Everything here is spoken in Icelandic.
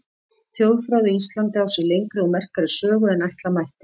Þjóðfræði á Íslandi á sér lengri og merkari sögu en ætla mætti.